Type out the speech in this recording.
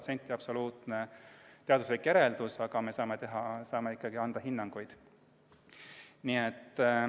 See ei ole sada protsenti teaduslik järeldus, aga me saame ikkagi anda hinnanguid.